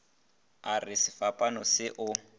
a re sefapano se o